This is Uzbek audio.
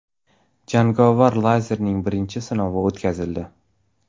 Jangovar lazerning birinchi sinovi o‘tkazildi.